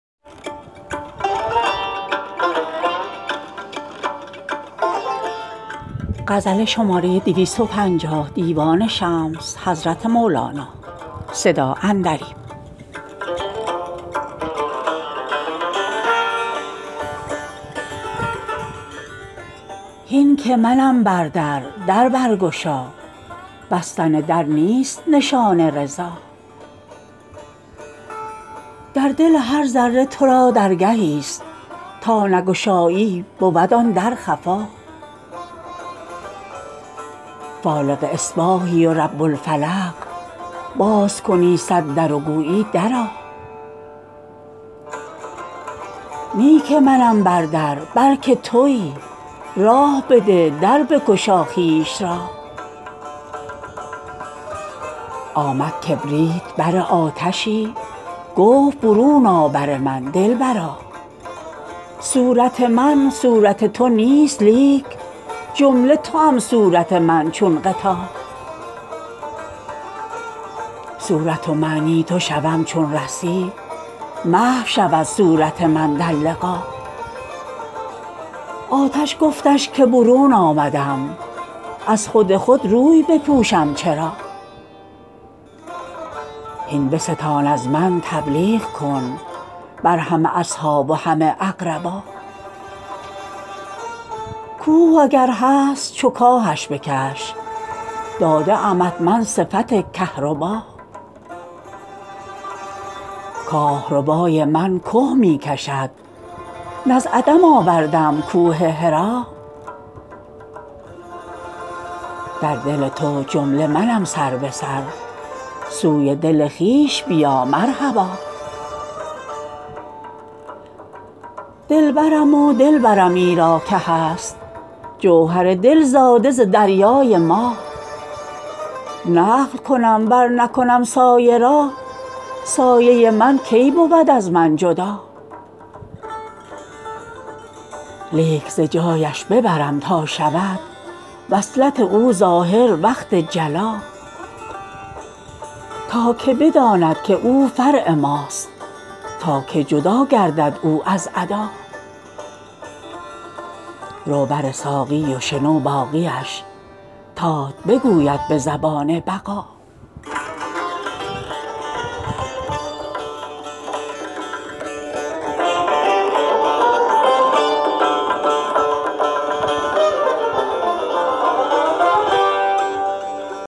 هین که منم بر در در برگشا بستن در نیست نشان رضا در دل هر ذره تو را درگهیست تا نگشایی بود آن در خفا فالق اصباحی و رب الفلق باز کنی صد در و گویی درآ نی که منم بر در بلک توی راه بده در بگشا خویش را آمد کبریت بر آتشی گفت برون آ بر من دلبرا صورت من صورت تو نیست لیک جمله توام صورت من چون غطا صورت و معنی تو شوم چون رسی محو شود صورت من در لقا آتش گفتش که برون آمدم از خود خود روی بپوشم چرا هین بستان از من تبلیغ کن بر همه اصحاب و همه اقربا کوه اگر هست چو کاهش بکش داده امت من صفت کهربا کاه ربای من که می کشد نه از عدم آوردم کوه حرا در دل تو جمله منم سر به سر سوی دل خویش بیا مرحبا دلبرم و دل برم ایرا که هست جوهر دل زاده ز دریای ما نقل کنم ور نکنم سایه را سایه من کی بود از من جدا لیک ز جایش ببرم تا شود وصلت او ظاهر وقت جلا تا که بداند که او فرع ماست تا که جدا گردد او از عدا رو بر ساقی و شنو باقیش تات بگوید به زبان بقا